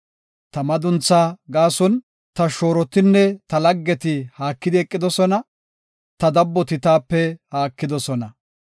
Ta madunthaa gaason ta shoorotinne ta laggeti haakidi eqidosona; ta dabboti taape haakidosona.